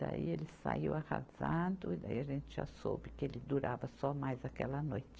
Daí ele saiu arrasado, e daí a gente já soube que ele durava só mais aquela noite.